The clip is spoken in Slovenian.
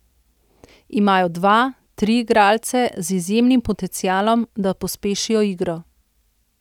Imajo dva, tri igralce z izjemnim potencialom, da pospešijo igro.